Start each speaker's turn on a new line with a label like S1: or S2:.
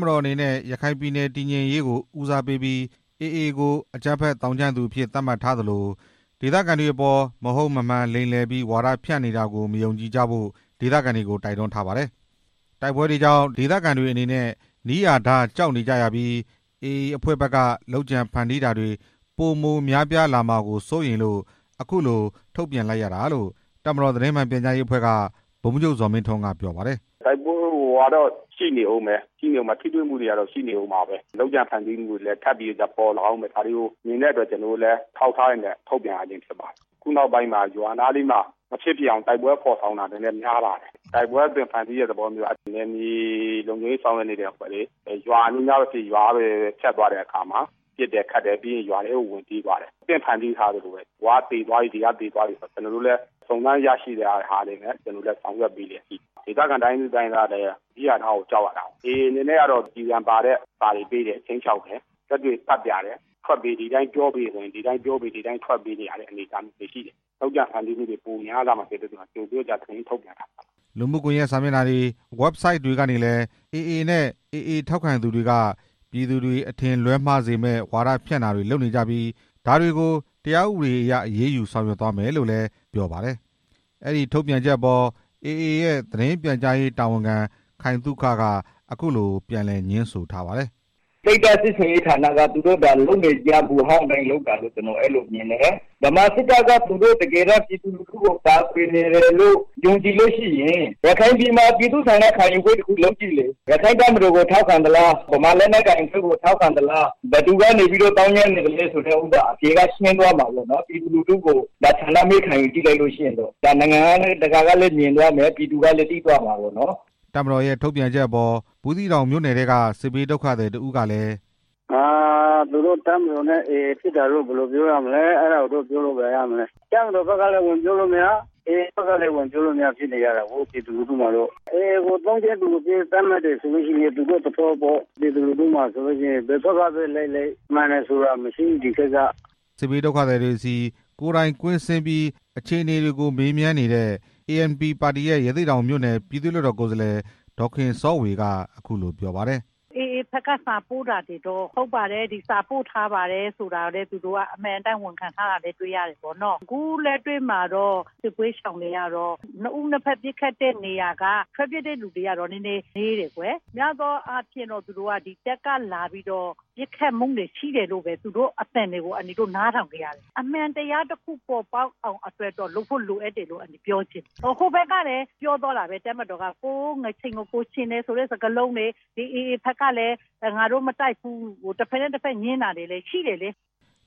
S1: မတော်အနေနဲ့ ရခိုင်ပြည်နယ် တည်ငြိမ်ရေးကို ဦးစားပေးပြီး AA ကို အကြမ်းဖက်သောင်းကျန်းသူအဖြစ် သတ်မှတ်ထားသလို ဒေသခံတွေအပေါ် မဟုတ်မမှန် လိမ်လည်ပြီး ဝါဒဖြန့်နေတာတွေကို မယုံကြည်ကြဖို့ ဒေသခံတွေကို တိုက်တွန်းထားပါတယ်။ တိုက်ပွဲတွေကြောင့် ဒေသခံတွေအနေနဲ့ နီးရာဓား ကြောက်နေကြရပြီး AA အဖွဲ့ဖက်က လုပ်ကြံဖန်တီးတာတွေ ပိုမိုများပြားလာမှာစိုးရိမ်လို့ အခုလို ထုတ်ပြန်ရတာလို့ တပ်မတော်သတင်းမှန်ပြန်ကြားရေးအဖွဲ့က ဗိုလ်မှုးချုပ် ဇော်မင်းထွန်းက ပြောပါတယ်
S2: ။ "တိုက်ပွဲကရှိနေဦးမယ်၊ လုပ်ကြံဖန်တီးမှုတွေကလည်းရှိနေလို့ အထောက်အထားတွေနဲ့ ထုတ်ပြန်ရ ခြင်းဖြစ်ပါတယ်၊ ခုနောက်ပိုင်း ရွာနားတွေမှာ တိုက်ပွဲဖော်ေဆောင်တာ များလာတယ်၊ နယ်မြေလုံခြုံရေး ဆောင်ရွက်နေတဲ့အဖွဲ့တွေ၊ ရွာအနီးနားတွေကနေ ဖြတ်သွားတဲ့အခါမှာ ပစ်တယ်ခတ်တယ်ထင်ပြီးရင် ရွာထဲကိုဝင်ပြေးသွားတယ်၊ အသင့်ဖန်တီးထားသလိုပဲ ဟိုက သေသွားပြီ ဒီက သေသွားပြီ ကျွန်တော်တို့ လည်း စုံစမ်းရရှိသလောက်ပဲ ဆောင်ရွက်ပေးလျက်ရှိတယ်။ ဒေသခံတွေကနီးရာ ဓားကို ကြောက်နေရ တယ်၊ ကျည်ဆံပါတဲ့ စာအိတ်တွေပေးတယ်။ ခြိမ်းခြောက်တယ်။ လက်တွေ့ သတ်ပြတယ် ထွက်ပေး ဒီ အတိုင်းပြောပေး ဒီအတိုင်းထွက်ပေးဆိုရင် ဒီအတိုင်းပြောပေးနေရတယ်၊ လုပ်ကြံဖန်တီးတာတွေ ပိုများ လာမှာမို့ ကြိုပြီး ထုတ်ပြန်ရတာ
S1: ပါ" လူမှုကွန်ရက်စာမျက်နှာတွေ၊ website တွေကနေလည်း AA နဲ့ AA ထောက်ခံသူတွေက ပြည်သူတွေ အထင်လွဲမှားစေမယ့် ဝါဒဖြန့်တာတွေ လုပ်နေကြပြီး ဒါတွေကို တရားဥပဒေအရအရေးယူ ဆောင်ရွက်မယ်လို့လည်း ပြောပါတယ်။ အဲဒီထုတ်ပြန်ချက်အပေါ် AA ပြန်ကြားရေးတာဝန်ခံ ခိုင်သုခ က အခုလို ပြန်လည်ငြင်းဆိုပါတယ်။ "စိတ်ဓာတ်စစ်ဆင်ရေးဌာနက သူတို့လုပ်နေကျအတိုင်း လုပ်တာလို့မြင်တယ်၊ ဗမာစစ်တပ်က သူတို့ ပြည်သူကို ကာကွယ်နေတယ်လို့ ယုံကြည်ရင် ရခိုင်ပြည်မှာ ပြည်သူ့ဆန္ဒခံယူပွဲ လုပ်ကြည့်လေ၊ ရက္ခိုင့် တပ်မတော်ကို ထောက်ခံသလား၊ ဗမာလက်နက်ကိုင်တပ်ဖွဲ့ကို ထောက်ခံသလား၊ ဘယ်သူကနေ သောင်းကျန်းနေသလဲဆိုတာ အဖြေရှင်းသွားမှာပေါ့နော်၊ နိုင်ငံတကာကလည်
S2: း မြင်သွားမယ် ပြည်သူ ကလည်း သိသွားမှာပေါ့"
S1: တပ်မတော်ရဲ့ ထုတ်ပြန်ချက်အပေါ် ဘူးသီးတောင်မြို့နယ်ထဲက စစ်ဘေးဒုက္ခသည် တစ်ဦးက--- "
S2: တပ်မတော်ဖက်ကလည်း ပြောလို့မရ၊ AA ဖက်ကလည်း ဝင်ပြောလို့မရ ဖြစ်နေကြတာကို ပြည်သူလူ ထုတွေက AA ကို သောင်းကျန်းသူအဖြစ် သတ်မှတ်တယ်ဆိုရင် သူတို့သဘောပေါ့။ ပြည်သူလူထုက ဘယ်ဖက်ကလိုက်လိုက် မှန်တယ်ဆိုတာမရှိ ဒီဖက်က’’ မြောက်ဦးမြိ
S1: ု့နယ်က စစ်ဘေးဒုက္ခသည်တွေဆီ ကိုယ်တိုင်ကွင်းဆင်းပြီး အခြေအနေတွေကို မေးမြန်းနေတဲ့ ANP ပါတီရဲ့ ရသေ့တောင်မြို့နယ် ပြည်သူ့လွှတ်တော်ကိုယ်စားလှယ် ဒေါ်ခင်စောဝေက အခုလိုပြောပါတယ်။
S3: "AA ဖက်က စာပို့တာတွေကို ဟုတ်ပါတယ်။ ဒီစာတွေပို့ထားတယ်ဆိုတာ အမှန်အတိုင်းဝန်ခံထားတာ တွေရှိတယ်။ ခုလက်တွေ့မှာတော့ စစ်ပွဲရှောင်တွေက နှစ်ဖက်တိုက်ပွဲတွေကနေ ထွက်ပြေးရသူနည်း တယ်၊ များသောအားဖြင့် တပ်ကလာပြီး ပစ်ခတ်မှုတွေရှိတယ်လို့ အန်တီတို့ နားထောင်ခဲ့ရတယ်၊ အမှန်တရားတစ်ခု ပေါ်ပေါက်အောင်လုပ်ဖို့ လိုအပ်တယ်လို့ ပြောချင်တယ်။ ဟိုဖက်ကလည်းပြောသွားတာပဲ တပ်မတော်က သူတို့ ငါးချဉ်ချဉ်တယ်ဆိုတဲ့ စကားလုံးတွေ AA ဖက်ကလည်း ငါတို့မတိုက်ဘူး တစ်ဖက်နဲ့တစ်ဖက် ငြင်းတာတွေရှိတယ်"